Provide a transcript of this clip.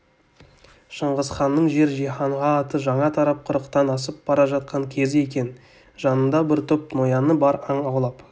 шыңғысханның жер-жиһанға аты жаңа тарап қырықтан асып бара жатқан кезі екен жанында бір топ нояны бар аң аулап